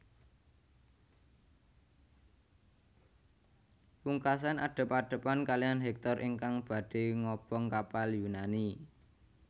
Pungkasan adep adepan kalihan Hektor ingkang badhé ngobong kapal Yunani